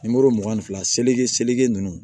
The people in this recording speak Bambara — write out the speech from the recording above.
mugan ni fila seleke seligi ninnu